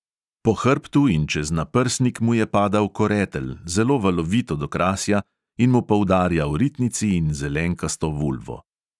Po hrbtu in čez naprsnik mu je padal koretelj, zelo valovit od okrasja, in mu poudarjal ritnici in zelenkasto vulvo.